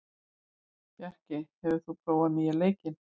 Bjarkey, hefur þú prófað nýja leikinn?